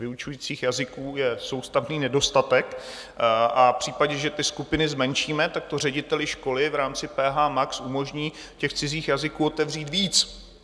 Vyučujících jazyků je soustavný nedostatek a v případě, že ty skupiny zmenšíme, tak to řediteli školy v rámci PHmax umožní těch cizích jazyků otevřít víc.